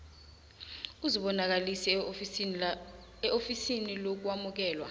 uzibonakalise eofisini lokwamukelwa